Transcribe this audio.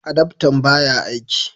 adaftan ba ya aiki